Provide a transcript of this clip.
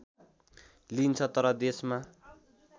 लिइन्छ तर देशमा